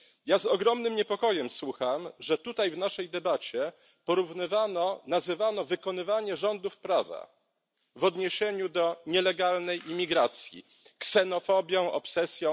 Ja z ogromnym niepokojem słucham, że tutaj w naszej debacie nazywano wykonywanie rządów prawa w odniesieniu do nielegalnej imigracji ksenofobią, obsesją.